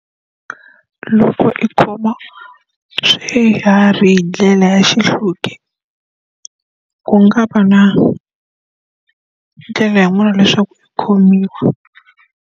Loko i khoma swihari hi ndlela ya xihluke, ku nga va na ndlela yin'wana leswaku i khomiwa.